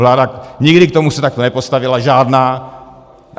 Vláda nikdy k tomu se takhle nepostavila, žádná.